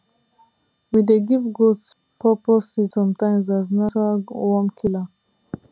we dey give goat pawpaw seed sometimes as natural worm killer